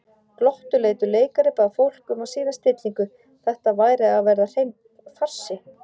Glottuleitur leikari bað fólk um að sýna stillingu, þetta væri að verða hreinn farsi.